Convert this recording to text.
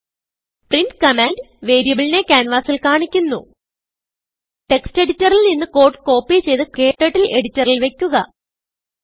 print command വേരിയബിളിനെ ക്യാൻവാസിൽ കാണിക്കുന്നു ടെക്സ്റ്റ് എഡിറ്ററിൽ നിന്ന് കോഡ് കോപ്പി ചെയ്ത് ക്ടർട്ടിൽ എഡിറ്ററിൽ വയ്ക്കുക